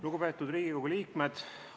Lugupeetud Riigikogu liikmed!